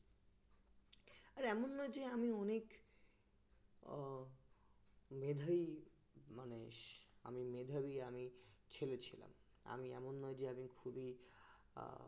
আর এমন নয় যে আমি অনেক আহ মেধাবী মানে আমি মেধাবী আমি আমি ছেলে ছিলাম আমি এমন নয় যে এতদিন খুবি